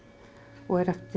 og er eftir